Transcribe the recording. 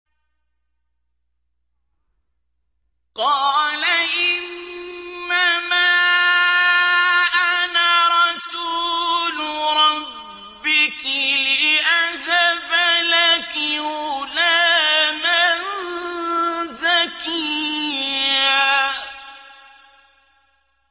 قَالَ إِنَّمَا أَنَا رَسُولُ رَبِّكِ لِأَهَبَ لَكِ غُلَامًا زَكِيًّا